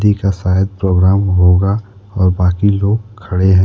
या शायद प्रोग्राम होगा और बाकी लोग खड़े हैं।